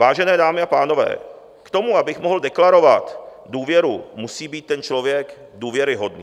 Vážené dámy a pánové, k tomu, abych mohl deklarovat důvěru, musí být ten člověk důvěryhodný.